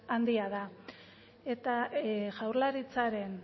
handia da eta jaurlaritzaren